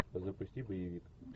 запусти боевик